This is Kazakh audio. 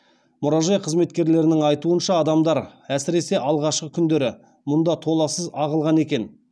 мұражай қызметкерлерінің айтуынша адамдар әсіресе алғашқы күндері мұнда толассыз ағылған екен